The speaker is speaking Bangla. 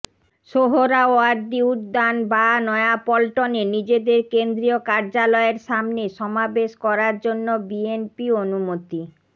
সোহরাওয়ার্দী উদ্যান বা নয়াপল্টনে নিজেদের কেন্দ্রীয় কার্যালয়ের সামনে সমাবেশ করার জন্য বিএনপি অনুমতি